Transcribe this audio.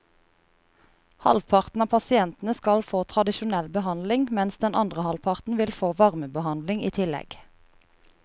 Halvparten av pasientene skal få tradisjonell behandling, mens den andre halvparten vil få varmebehandling i tillegg.